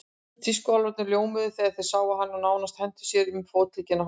Tískuálfarnir ljómuðu þegar þeir sáum hann og nánast hentu sér um fótleggina á honum.